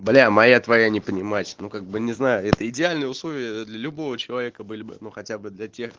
бля моя твоя не понимать ну как бы не знаю это идеальные условия для любого человека были бы ну хотя бы для тех